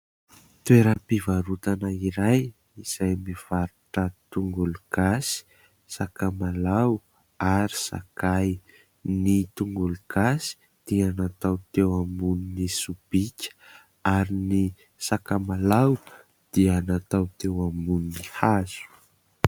Toeram-pivarotana iray izay mivarotra tongolo gasy, sakamalao ary sakay. Ny tongolo gasy dia natao teo ambony sobika ary ny sakamalao dia natao teo ambony hazo.